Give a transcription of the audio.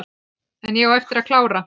En ég á eftir að klára.